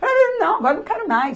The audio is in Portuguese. não, agora não quero mais.